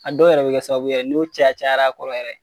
A dɔw yɛrɛ bɛ kɛ sababu ye n'u caya cayar'a kɔrɔ yɛrɛ.